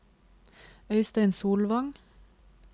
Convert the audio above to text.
Øystein Solvang